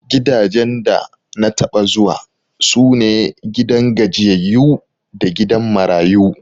Gidajen da na taɓa zuwa, su ne gidan gajiyayyu da gidan marayu.